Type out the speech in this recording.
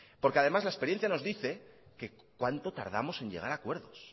porque además la experiencia nos dice que cuánto tardamos en llegar a acuerdos